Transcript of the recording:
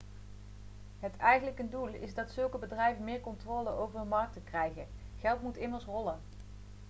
het eigenlijke doel is dat zulke bedrijven meer controle over hun markten krijgen geld moet immers rollen